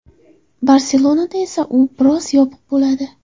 Barselonada esa u biroz yopiq bo‘ladi.